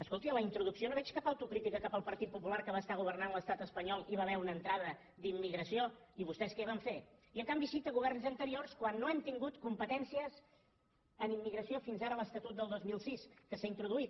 escolti en la introducció no veig cap autocrítica cap al partit popular que va governar l’estat espanyol i hi va haver una entrada d’immigració i vostès què van fer i en canvi cita governs anteriors quan no hem tingut competències en immigració fins ara en l’esta·tut del dos mil sis que s’hi han introduït